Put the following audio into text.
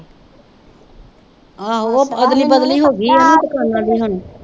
ਆਹੋ ਉਹ ਹੋ ਗਈ ਆ ਨਾ ਦੁਕਾਨਾਂ ਦੀ ਹੁਣ।